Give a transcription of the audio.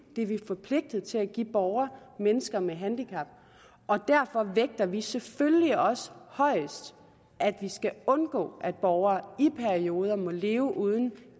det er vi forpligtet til at give borgere mennesker med handicap derfor vægter vi selvfølgelig også højest at vi skal undgå at borgere i perioder må leve uden